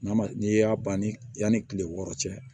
N'a ma n'i y'a ban ni yan ni kile wɔɔrɔ cɛ